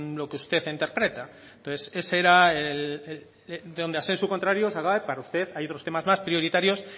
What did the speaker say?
lo que usted interpreta ese era el para usted hay otros temas más prioritarios